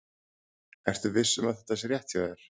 Ertu viss um að þetta sé rétt hjá þér?